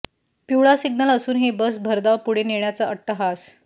पिवळा सिग्नल असूनही बस भरधाव पुढे नेण्याचा अट्टहास